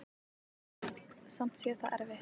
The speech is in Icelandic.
Samt sé það erfitt.